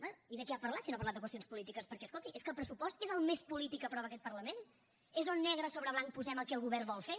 bé i de què ha parlat si no ha parlat de qüestions polítiques perquè escolti és que el pressupost és el més polític que aprova aquest parlament és on negre sobre blanc posem el que el govern vol fer